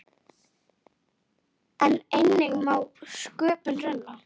En eigi má sköpum renna.